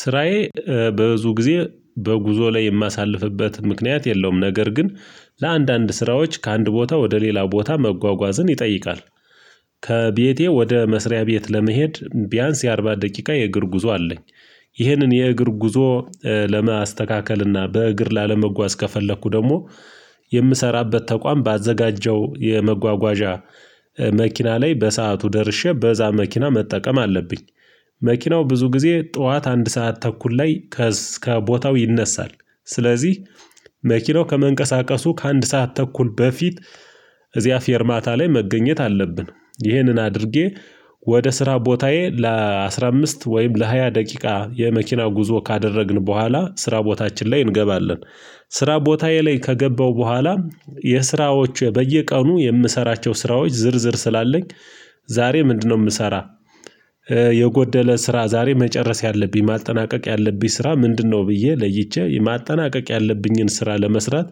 ስራዬ በብዙ ጊዜ በጉዞ ላይ የማሳልፍበት ምክንያት የለውም ነገር ግን ለአንዳንድ ስራዎች ከአንድ ቦታ ወደ ሌላ ቦታ መጓጓዝን ይጠይቃል። ከቤቴ ወደ መስሪያ ቤት ለመሄድ ቢያንስ የአርባ ደቂቃ የእግር ጉዞ አለኝ። ይህንን የእግር ጉዞ ለማስተካከልና በእግር ላለመጓዝ ከፈለኩ ደግሞ የምሰራበት ተቋም ባዘጋጀው የመጓጓዣ መኪና ላይ በሰአቱ ደርሼ በዛ መኪና መጠቀም አለብኝ። መኪናው ብዙ ጊዜ ጥዋት አንድ ሰዓት ተኩል ላይ ከእስከ ቦታው ይነሳል። ስለዚህ መኪናው ከመንቀሳቀሱ ከአንድ ሰዓት ተኩል በፊት እዚያ ፌርማታ ላይ መገኘት አለብን። ይህንን አድርጌ ወደ ስራ ቦታዬ ለአሥራ አምስት ወይም ለሃያ ደቂቃ የመኪና ጉዞ ካደረግን በኋላ ስራ ቦታችን ላይ እንገባለን። ስራ ቦታዬ ላይ ከገባሁ በኋላ የስራዎቼ በየቀኑ የምሰራቸው ስራዎች ዝርዝር ስላለኝ ዛሬ ምንድነው እምሰራ? የጎደለ ስራ ዛሬ መጨረስ ያለብኝ ማጠናቀቅ ያለብኝ ስራ ምንድነው ብዬ ለይቼ ማጠናቀቅ ያለብኝን ስራ ለመስራት።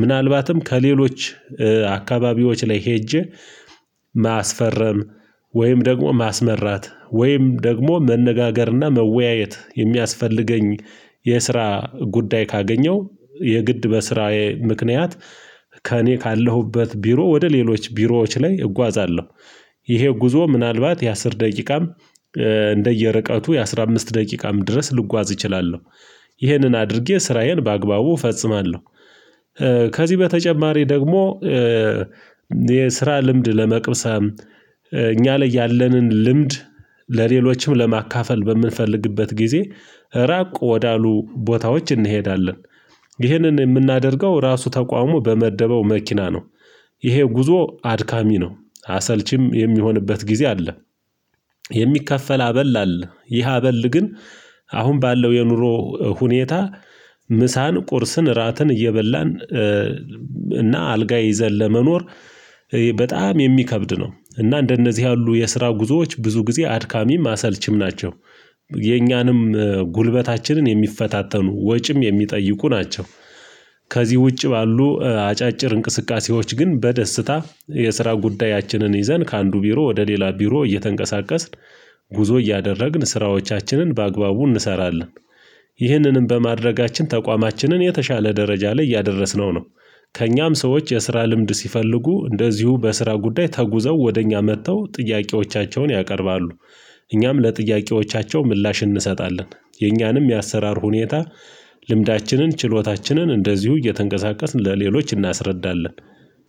ምናልባትም ከሌሎች አካባቢዎች ላይ ሄጄ ማስፈረም ወይም ደግሞ ማስመራት ወይም ደግሞ መነጋገርና መወያየት የሚያስፈልገኝ የስራ ጉዳይ ካገኘው የግድ በስራዬ ምክንያት ከእኔ ካለሁበት ቢሮ ወደ ሌሎች ቢሮዎች ላይ እጓዛለሁ። ይሄ ጉዞ ምናልባት የአሥር ደቂቃም እንደየርቀቱ የአሥራ አምስት ደቂቃም ድረስ ልጓዝ እችላለሁ። ይህንን አድርጌ ስራዬን በአግባቡ እፈጽማለሁ። ከዚህ በተጨማሪ ደግሞ የስራ ልምድ ለመቅሰም እኛ ላይ ያለንን ልምድ ለሌሎችም ለማካፈል በምንፈልግበት ጊዜ ራቅ ወደ አሉ ቦታዎች እንሄዳለን። ይህንን እምናደርገው ራሱ ተቋሙ በመደበው መኪና ነው። ይሄ ጉዞ አድካሚ ነው አሰልቺም የሚሆንበት ጊዜ አለ። የሚከፈል አበል አለ ይህ አበል ግን አሁን ባለው የኑሮ ሁኔታ ምሳን ቁርስን እራትን እየበላን እና አልጋ ይዘን ለመኖር በጣም የሚከብድ ነው። እና እንደነዚህ ያሉ የስራው ጉዞዎች ብዙ ጊዜ አድካሚም አሰልችም ናቸው። የኛንም ጉልበታችንን የሚፈታተኑ ወጪም የሚጠይቁ ናቸው። ከዚህ ውጭ ባሉ አጫጭር እንቅስቃሴዎች ግን በደስታ የስራ ጉዳያችንን ይዘን ከአንዱ ቢሮ ወደ ሌላ ቢሮ እየተንቀሳቀስን ጉዞ እያደረግን ስራዎቻችንን በአግባቡ እንሰራለን። ይህንንም በማድረጋችን ተቋማችንን የተሻለ ደረጃ ላይ እያደረስነው ነው። ከእኛም ሰዎች የስራ ልምድ ሲፈልጉ እንደዚሁ በስራ ጉዳይ ተጉዘው ወደ እኛ መጥተው ጥያቄዎቻቸውን ያቀርባሉ። እኛም ለጥያቄዎቻቸው ምላሽ እንሰጣለን የእኛንም የአሰራር ሁኔታ ልምዳችንን ችሎታችንን እንደዚሁ እየተንቀሳቀስን ለሌሎች እናስረዳለን።